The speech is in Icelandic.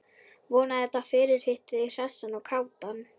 Vona að þetta fyrirhitti þig hressan og kátan.